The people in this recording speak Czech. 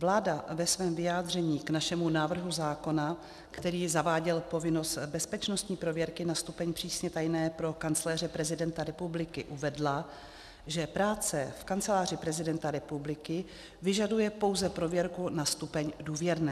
Vláda ve svém vyjádření k našemu návrhu zákona, který zaváděl povinnost bezpečnostní prověrky na stupeň přísně tajné pro kancléře prezidenta republiky, uvedla, že práce v Kanceláři prezidenta republiky vyžaduje pouze prověrku na stupeň důvěrné.